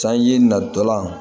Sanji natɔla